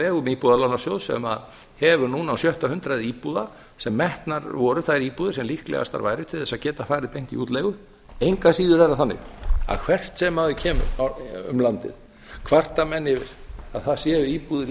vegum íbúðalánasjóðs sem hefur núna á sjötta hundruð íbúða sem metnar voru þær íbúðir sem líklegastar væru til þess að geta farið beint í útleigu engu að síður er það þannig að hvert sem maður kemur um landið kvarta menn yfir að þar séu íbúðir